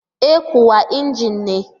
E kuwa, injin ne